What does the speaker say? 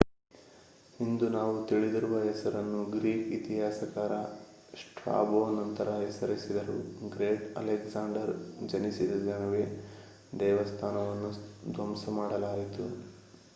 ಇಂದು ನಾವು ತಿಳಿದಿರುವ ಹೆಸರನ್ನು ಗ್ರೀಕ್ ಇತಿಹಾಸಕಾರ ಸ್ಟ್ರಾಬೋ ನಂತರ ಹೆಸರಿಸಿದರು ಗ್ರೇಟ್ ಅಲೆಕ್ಸಾಂಡರ್ ಜನಿಸಿದ ದಿನವೇ ದೇವಸ್ಥಾನವನ್ನು ಧ್ವಂಸ ಮಾಡಲಾಯಿತು